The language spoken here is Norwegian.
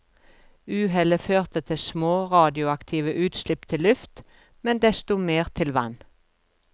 Uhellet førte til små radioaktive utslipp til luft, men desto mer til vann.